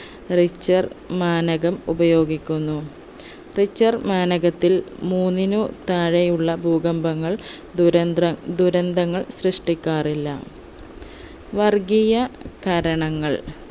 richter മാനകം ഉപയോഗിക്കുന്നു richter മാനകത്തിൽ മൂന്നിനു താഴെയുള്ള ഭൂകമ്പങ്ങൾ ദുരന്ദ്ര ദുരന്തങ്ങൾ സൃഷ്ടിക്കാറില്ല വർഗീയ കാരണങ്ങൾ